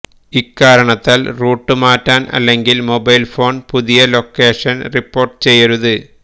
ഇക്കാരണത്താൽ റൂട്ട് മാറ്റാൻ അല്ലെങ്കിൽ മൊബൈൽ ഫോൺ പുതിയ ലൊക്കേഷൻ റിപ്പോർട്ട് ചെയ്യരുത്